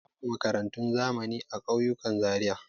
Babu makarantun zamani a ƙauyukan Zariya.